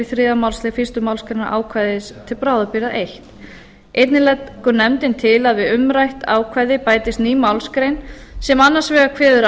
þriðja málsl fyrstu málsgrein ákvæðis til bráðabirgða fyrsta einnig leggur nefndin til að við umrætt ákvæði bætist ný málsgrein sem annars vegar kveður á